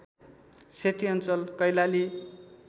सेती अञ्चल कैलाली